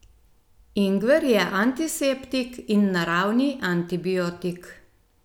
Ingver je antiseptik in naravni antibiotik.